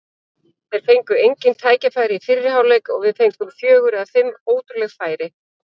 Þeir fengu engin tækifæri í fyrri hálfleik og við fengum fjögur eða fimm ótrúleg færi.